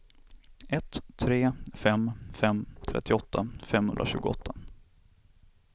ett tre fem fem trettioåtta femhundratjugoåtta